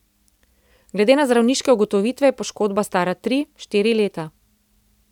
Glede na zdravniške ugotovitve je poškodba stara tri, štiri leta.